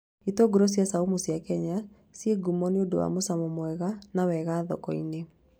Itũngũrũ cia caumu cia Kenya ciĩ ngumo nĩ ũndũ wa mũcamo mwega na wega thoko-inĩ